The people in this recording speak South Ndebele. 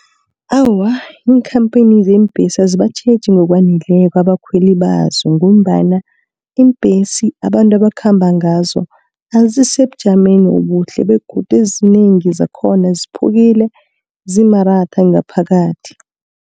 Awa, iinkhampani zeembhesi azibatjheje ngokwaneleko abakhweli bazo, ngombana iimbhesi abantu abakhamba ngazo, azisisebujameni obuhle, begodu ezinengi zakhona ziphukile, zimaratha ngaphakathi.